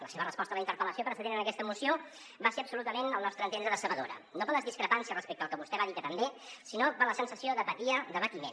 la seva resposta a la interpel·lació pre·cedent en aquesta moció va ser absolutament al nostre entendre decebedora no per les discrepàncies respecte al que vostè va dir que també sinó per la sensació d’apatia d’abatiment